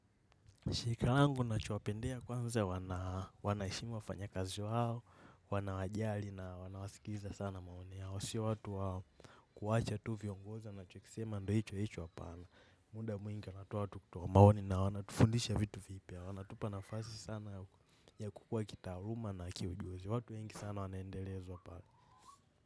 Shirika langu ninachowapendea kwanze wanaheshimu wafanyakazi wao, wanawajali na wanawasikiliza sana maoni yao. Si watu wakuacha tu viongozi anachokisema ndiyo hicho hicho hapana. Muda mwingi anatoa tu kutoa maoni na wanatufundisha vitu vipya. Wanatupa nafasi sana ya kukuwa kitaaluma na kiujuzi. Watu wengi sana wanaendelezwa pale.